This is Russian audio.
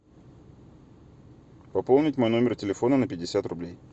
пополнить мой номер телефона на пятьдесят рублей